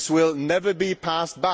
This will never be passed.